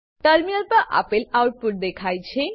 terminal પર આપેલ output દેખાય છે